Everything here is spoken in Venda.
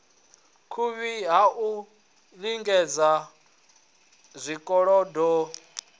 vhuvhi ha u ḓidzhenisa zwikolodoni